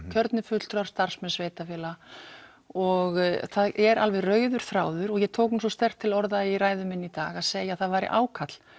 kjörnir fulltrúar starfsmenn sveitarfélaga og það er alveg rauður þráður og ég tók nú svo sterkt til orða í ræðu minni í dag að segja að það væri ákall